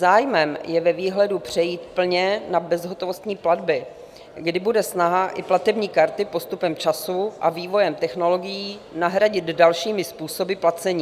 Zájmem je ve výhledu přejít plně na bezhotovostní platby, kdy bude snaha i platební karty postupem času a vývojem technologií nahradit dalšími způsoby placení.